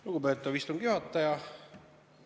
Lugupeetav istungi juhataja!